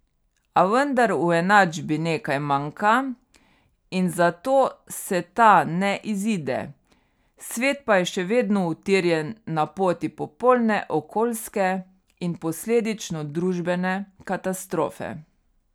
A vendar v enačbi nekaj manjka in zato se ta ne izide, svet pa je še vedno utirjen na poti popolne okoljske, in posledično družbene, katastrofe.